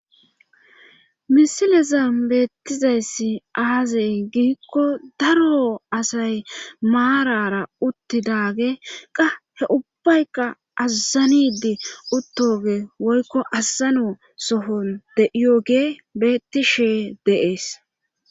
Misilezan beettizayssi aazey giikko daro asay maarara uttidage qa he ubbayka azzanidi uttoge woykko azzano sohon de'iyogee beetti shee dees.